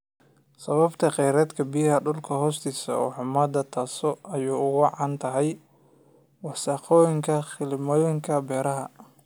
Sababta kheyraadka biyaha dhulka hoostiisa oo xumaada taasoo ay ugu wacan tahay wasakhowga kiimikooyinka beeraha.